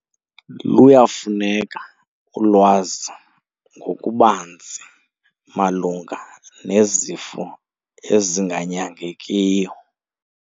Luyafuneka ulwazi ngokubanzi malunga nezifo ezinganyangekiyo.